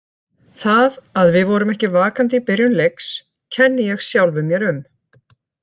Það að við vorum ekki vakandi í byrjun leiks kenni ég sjálfum mér um.